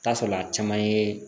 Taa sɔrɔla a caman ye